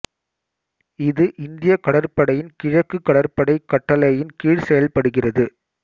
இது இந்திய கடற்படையின் கிழக்கு கடற்படை கட்டளையின் கீழ் செயல்படுகிறது